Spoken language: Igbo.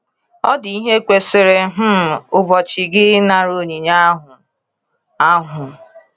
Ọ dị ihe kwesịrị um igbochi gị ịnara onyinye ahụ? ahụ?